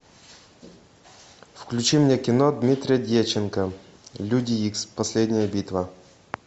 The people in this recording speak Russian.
включи мне кино дмитрия дьяченко люди икс последняя битва